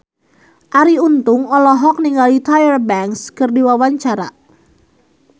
Arie Untung olohok ningali Tyra Banks keur diwawancara